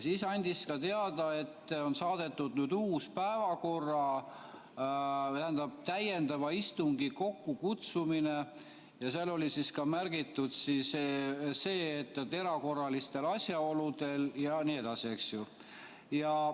Siis ta andis ka teada, et on saadetud, tähendab, täiendava istungi kokkukutsumise ja seal oli ka märgitud see, et erakorralistel asjaoludel jne.